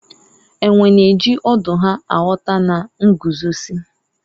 enwe na-eji ọdụ ha aghọta na nguzozi